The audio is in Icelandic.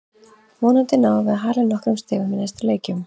Vonandi náum við að hala inn nokkrum stigum í næstu leikjum.